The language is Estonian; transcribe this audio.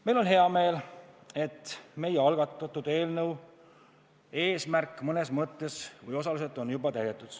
Meil on hea meel, et meie algatatud eelnõu eesmärk on mõnes mõttes osaliselt juba täidetud.